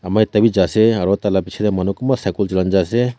ama ekta bi ja ase aro tailaka bechedey manu kombah cycle julaikena jae ase.